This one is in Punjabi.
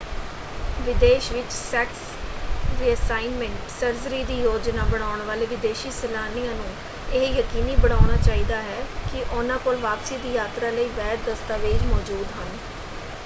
ਵਿਦੇਸ਼ ਵਿੱਚ ਸੈਕਸ ਰੀਅਸਾਈਨਮੈਂਟ ਸਰਜਰੀ ਦੀ ਯੋਜਨਾ ਬਣਾਉਣ ਵਾਲੇ ਵਿਦੇਸ਼ੀ ਸੈਲਾਨੀਆਂ ਨੂੰ ਇਹ ਯਕੀਨੀ ਬਣਾਉਣਾ ਚਾਹੀਦਾ ਹੈ ਕਿ ਉਹਨਾਂ ਕੋਲ ਵਾਪਸੀ ਦੀ ਯਾਤਰਾ ਲਈ ਵੈਧ ਦਸਤਾਵੇਜ਼ ਮੌਜੂਦ ਹਨ।